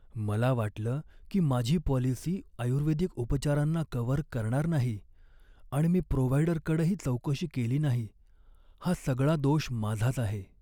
मला वाटलं की माझी पॉलिसी आयुर्वेदिक उपचारांना कव्हर करणार नाही आणि मी प्रोव्हाईडरकडंही चौकशी केली नाही. हा सगळा दोष माझाच आहे.